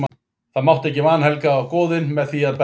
Það mátti ekki vanhelga goðin með því að berjast.